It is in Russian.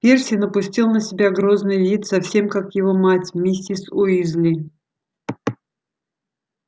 перси напустил на себя грозный вид совсем как его мать миссис уизли